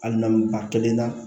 Ali n'an ba kelen na